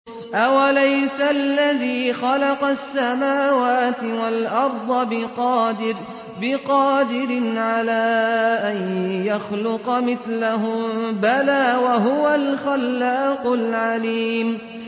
أَوَلَيْسَ الَّذِي خَلَقَ السَّمَاوَاتِ وَالْأَرْضَ بِقَادِرٍ عَلَىٰ أَن يَخْلُقَ مِثْلَهُم ۚ بَلَىٰ وَهُوَ الْخَلَّاقُ الْعَلِيمُ